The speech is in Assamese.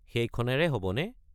সেইখনেৰে হ'বনে?